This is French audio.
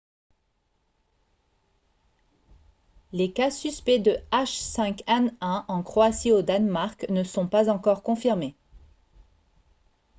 les cas suspects de h5n1 en croatie et au danemark ne sont pas encore confirmés